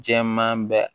Jɛman bɛ